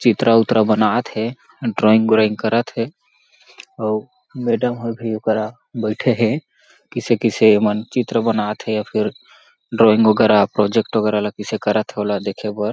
चित्र-उत्र बनात हे ड्राइंग उरइंग करत हे अउ मैडम ह अभी ए करा बइठे हे कइसे-कइसे ए मन चित्र बनात हे या फिर ड्राइंग वगेरा प्रोजेक्ट वगेरा ला कईसे करत हे ओला देखे बर--